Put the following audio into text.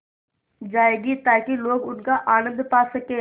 जाएगी ताकि लोग उनका आनन्द पा सकें